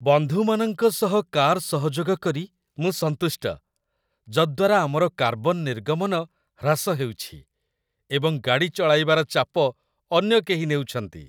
ବନ୍ଧୁମାନଙ୍କ ସହ କାର୍ ସହଯୋଗ କରି ମୁଁ ସନ୍ତୁଷ୍ଟ, ଯଦ୍ୱାରା ଆମର କାର୍ବନ ନିର୍ଗମନ ହ୍ରାସ ହେଉଛି ଏବଂ ଗାଡ଼ି ଚଳାଇବାର ଚାପ ଅନ୍ୟ କେହି ନେଉଛନ୍ତି।